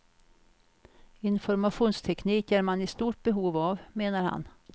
Informationsteknik är man i stort behov av, menar han.